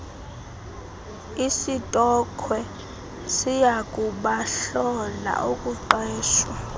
isitokhwe siyakubahlola ukuqeshwa